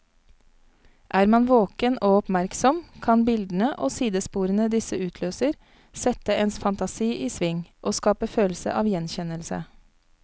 Er man våken og oppmerksom, kan bildene og sidesporene disse utløser, sette ens fantasi i sving og skape følelse av gjenkjennelse.